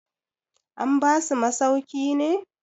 an basu masauki ne?